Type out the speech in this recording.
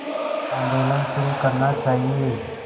आंदोलन शुरू करना चाहिए